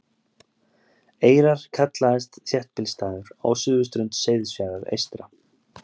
Eyrar kallaðist þéttbýlisstaður á suðurströnd Seyðisfjarðar eystra.